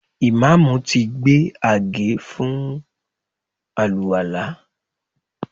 Ìmáàmù ti gbé àgé fún àlùwàlá